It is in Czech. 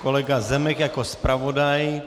Kolega Zemek jako zpravodaj.